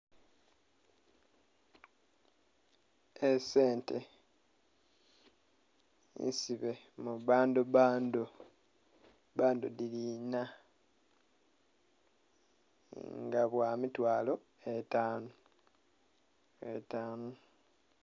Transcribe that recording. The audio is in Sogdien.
Esente nsibe mubbando bbando bbando dhiri ina nga bwamitwalo etanu etanu.